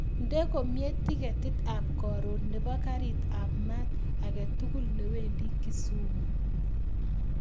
Nde komie tiketit ab koron nebo karit ab maat aketugul newendi kisumu